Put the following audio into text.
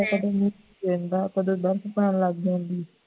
ਕਦੋਂ ਮੀਂਹ ਪੈਂਦਾ ਕਦੋਂ ਬਰਫ ਪੈਣ ਲੱਗ ਜਾਂਦੀ ਹੈ